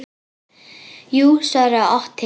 Jú, svaraði Otti.